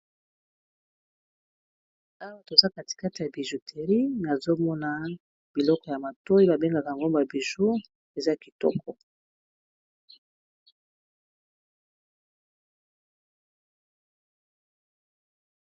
Awa toza katikata ya bijouterie nazomona biloko ya matoyi ba bengaka yango ba biju eza kitoko.